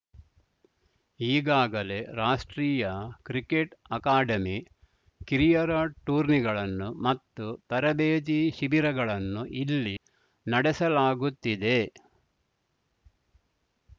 ಈಗಾಗಲೇ ರಾಷ್ಟ್ರೀಯ cricket academy ಕಿರಿಯರ ಟೂರ್ನಿಗಳನ್ನು ಮತ್ತು ತರಬೇತಿ ಶಿಬಿರಗಳನ್ನು ಇಲ್ಲಿ ನಡೆಸಲಾಗುತ್ತಿದೆ